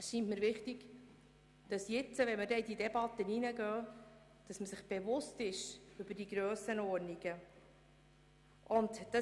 Wenn wir jetzt in die Debatte gehen, scheint es mir wichtig, dass man sich der Grössenordnungen bewusst ist.